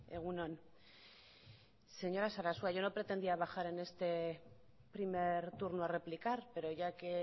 egun on señora sarasua yo no pretendía bajar en este primer turno a replicar pero ya que